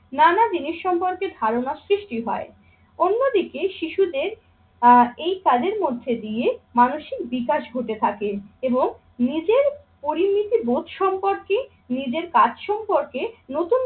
নানা জিনিস সম্পর্কে ধারণা সৃষ্টি হয়। অন্যদিকে শিশুদের আহ এই কাজের মধ্যে দিয়ে মানসিক বিকাশ ঘটে থাকে এবং নিজের পরিণীতি বোধ সম্পর্কে নিজের কাজ সম্পর্কে নতুন